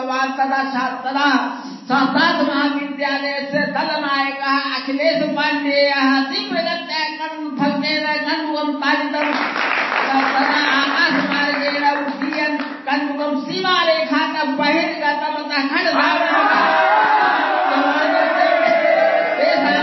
SOUND CLIP CRICKET COMMENTARY